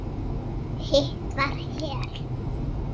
Hitt var Hel.